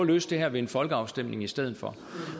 løse det her ved en folkeafstemning i stedet for